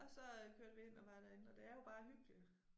Og så øh kørte vi ind og var derinde og det er jo bare hyggeligt